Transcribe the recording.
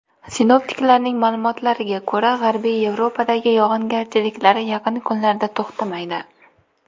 Sinoptiklarning ma’lumotlariga ko‘ra, G‘arbiy Yevropadagi yog‘ingarchiliklar yaqin kunlarda to‘xtamaydi.